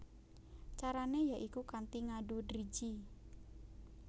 Carané ya iku kanthi ngadu driji